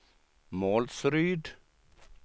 Målsryd